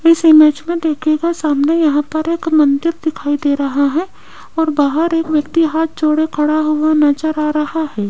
इस इमेज में देखिएगा सामने यहां पर एक मंदिर दिखाई दे रहा है और बाहर एक व्यक्ति हाथ जोड़े खड़ा हुआ नजर आ रहा है।